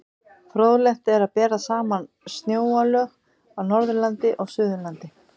Fróðlegt er að bera saman snjóalög á Norðurlandi og Suðurlandi.